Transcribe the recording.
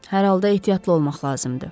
Hər halda ehtiyatlı olmaq lazımdır.